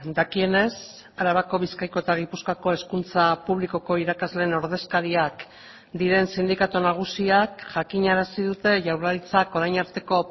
dakienez arabako bizkaiko eta gipuzkoako hezkuntza publikoko irakasleen ordezkariak diren sindikatu nagusiak jakinarazi dute jaurlaritzak orain arteko